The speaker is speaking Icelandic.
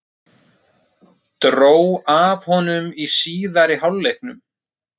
Dró af honum í síðari hálfleiknum.